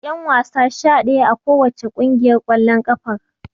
Akwai ƴanwasa sha ɗaya a kowace ƙungiyar ƙwallon ƙafar.